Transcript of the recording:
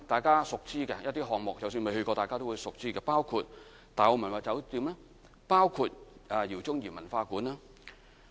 即使大家未曾前往參觀，都已熟知的項目包括大澳文物酒店、饒宗頤文化館等。